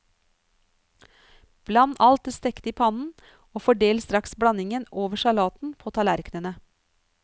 Bland alt det stekte i pannen og fordel straks blandingen over salaten på tallerknene.